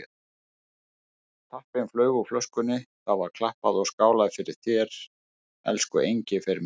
Tappinn flaug úr flöskunni, það var klappað og skálað fyrir þér, elsku Engifer minn.